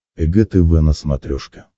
эг тв на смотрешке